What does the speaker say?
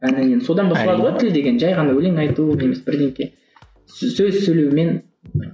содан басталады ғой тіл деген жай ғана өлең айту немесе сөз сөйлеумен